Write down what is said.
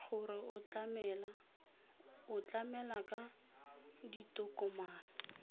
gore o tlamela ka ditokomane